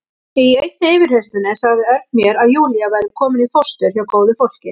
Í einni yfirheyrslunni sagði Örn mér að Júlía væri komin í fóstur hjá góðu fólki.